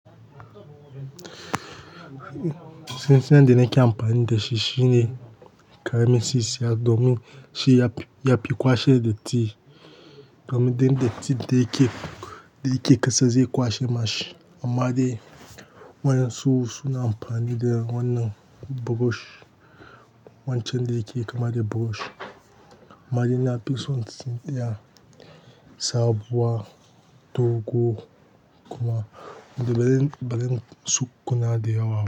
Tun san da nake amfani da shi shine ƙaramin sisiya domin shi ya, ya fi kwashe datti domin datti da yake, da yake ƙasa zai kwashe mashi. Amma dai wa yansu su na amfani da wannan burosh, wancan da yake kama da burosh. Amma dai na fi son tsintsiya sabuwa dogo kuma da bare, bari tsukkuna da yawa.